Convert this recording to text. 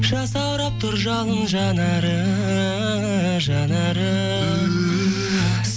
жасаурап тұр жалын жанары жанары